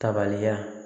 Tabaliya